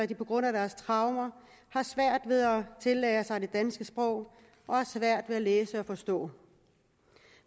de på grund af deres traumer har svært ved at tillære sig det danske sprog og har svært ved at læse og forstå